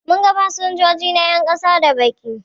Mun ga fasinjoji na 'yan kasa da baki